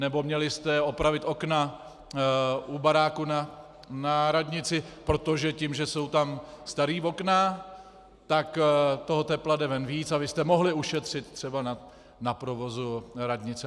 Nebo: "Měli jste opravit okna u baráku na radnici, protože tím, že jsou tam starý vokna, tak toho tepla jde ven víc a vy jste mohli ušetřit třeba na provozu radnice."